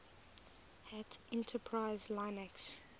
hat enterprise linux